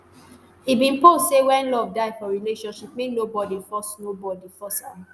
e bin post say wen love die for relationship make nobody force nobody force am